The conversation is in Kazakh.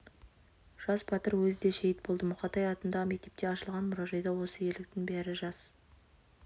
жас батыр өзі де шейіт болды мұқатай атындағы мектепте ашылған мұражайда осы ерліктің бәрі жас